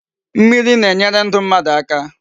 Mmiri na-enyere ndu mmadu aka